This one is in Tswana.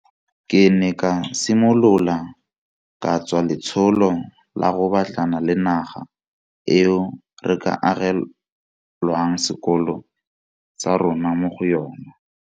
Ke ne ka simolola ka tswa letsholo la go batlana le naga eo re ka agelwang sekolo sa rona mo go yona.